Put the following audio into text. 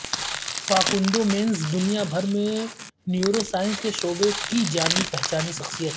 Facundo Manes دنیا بھر میں نیورو سائنس کے شعبے کی جانی پہچانی شخصیت